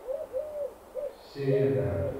серенко